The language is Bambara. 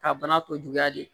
Ka bana tɔ juguya de